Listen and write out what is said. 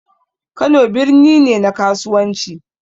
Kano birni ne na kasuwanci